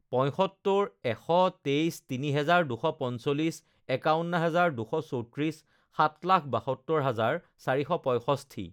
পঁয়সত্তৰ এশ তেইছ তিনি হেজাৰ দুশ পঞ্চলিছ একাৱন্ন হাজাৰ দুশ চৌত্ৰিছ সাত লাখ বাসত্তৰ হাজাৰ চাৰিশ পঁয়ষষ্ঠি